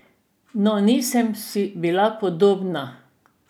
No, nisem si bila podobna.